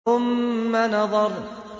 ثُمَّ نَظَرَ